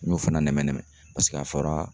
N y'o fana nɛmɛ-nɛmɛ a fɔra